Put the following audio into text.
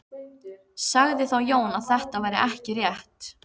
Sagði þá Jón að þetta væri ekki rétt.